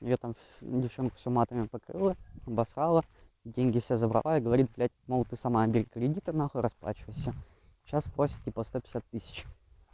я там девчонку всю матами покрывала обосрала деньги все забрала и говори блять мол ты сама бери кредиты нахуй расплачивайся сейчас просит сто пятьдесят тысяч